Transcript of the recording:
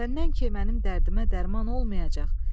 Səndən ki mənim dərdimə dərman olmayacaq.